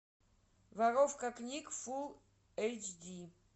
воровка книг фулл эйч ди